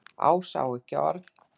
Ása á ekki orð.